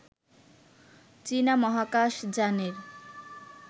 চীনা মহাকাশ যানের